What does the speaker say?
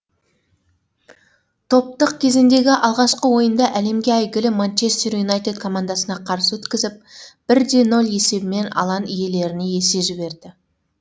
топтық кезеңдегі алғашқы ойынды әлемге әйгілі манчестер юнайтед командасына қарсы өткізіп бір де нөл есебімен алаң иелеріне есе жіберді